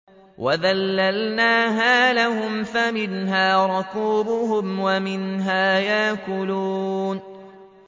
وَذَلَّلْنَاهَا لَهُمْ فَمِنْهَا رَكُوبُهُمْ وَمِنْهَا يَأْكُلُونَ